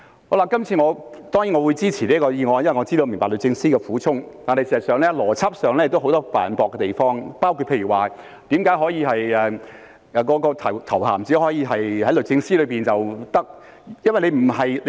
我這次當然會支持《條例草案》，因為我明白律政司的苦衷，但事實上，在邏輯方面有很多犯駁的地方，例如為何頭銜只可以在律政司內使用？